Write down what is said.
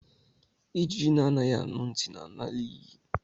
Ijiji na anaghị anu ntị na ala na iyi.